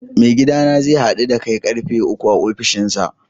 Mai gidana zai same da a'karfe uku a ofishinsa.